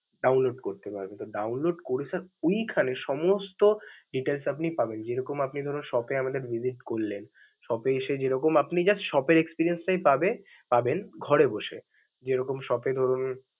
download করতে পারবেন. তো download করে sir ওইখানে সমস্ত details আপনি পাবেন. যেরকম আপনি ধরুন shop এ আমাদের visit করলেন, shop এ এসে যেরকম আপনি just এর experience টাই পাবে~ পাবেন, ঘরে বসে. যে রকম shop এ ধরুন.